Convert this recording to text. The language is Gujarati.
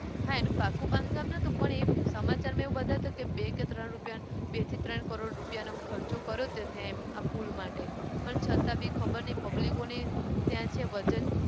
હા એનું પાકું બાંધકામ નહતું પણ એ સમાચારમાં બતાવ્યું હતું કે બે કે ત્રણ રૂપિયાનું બે થી ત્રણ કરોડ રૂપિયાનો એમ ખર્ચો કર્યો હતો ત્યાં એમ આ પુલ માટે પણ છતા બી ખબરની public ઓની ત્યાં છે વજન